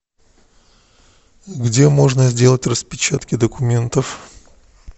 где можно сделать распечатки документов